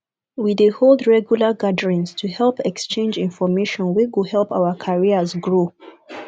we dey hold regular gatherings to exchange information wey go help our careers grow